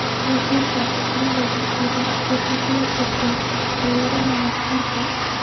Buufinta dilaaga boodada waxay ka hortagtaa cudurrada maqaarka.